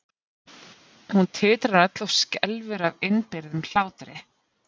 Hún titrar öll og skelfur af innibyrgðum hlátri.